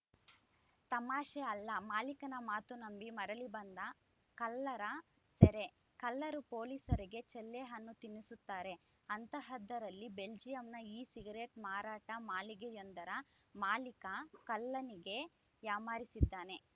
ತಮಾಷೆ ಅಲ್ಲ ಮಾಲೀಕನ ಮಾತು ನಂಬಿ ಮರಳಿ ಬಂದ ಕಳ್ಳರ ಸೆರೆ ಕಳ್ಳರು ಪೊಲೀಸರಿಗೆ ಚಳ್ಳೆಹಣ್ಣು ತಿನ್ನಿಸುತ್ತಾರೆ ಅಂಥಹದ್ದರಲ್ಲಿ ಬೆಲ್ಜಿಯಂನ ಇ ಸಿಗರೇಟ್‌ ಮಾರಾಟ ಮಳಿಗೆಯೊಂದರ ಮಾಲೀಕ ಕಳ್ಳನಿಗೇ ಯಾಮಾರಿಸಿದ್ದಾನೆ